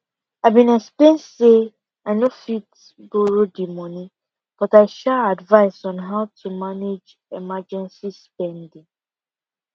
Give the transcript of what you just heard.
i been explain say i no fit borrow the money but i sha advice on how to manage emergency spending